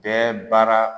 Bɛɛ baara